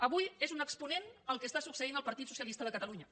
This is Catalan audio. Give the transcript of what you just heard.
avui n’és un exponent el que succeeix al partit socialista de catalunya